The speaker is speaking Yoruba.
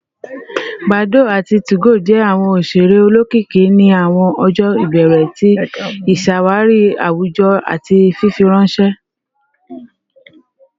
Badoo ati 2go jẹ awọn oṣere olokiki ni awọn ọjọ ibẹrẹ ti iṣawari awujọ ati fifiranṣẹ